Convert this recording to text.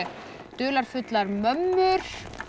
dularfullar mömmur